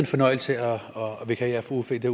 fornøjelse at vikariere for uffe i det